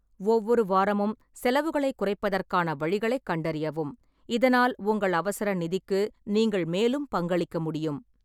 ஒவ்வொரு வாரமும் செலவுகளைக் குறைப்பதற்கான வழிகளைக் கண்டறியவும், இதனால் உங்கள் அவசர நிதிக்கு நீங்கள் மேலும் பங்களிக்க முடியும்.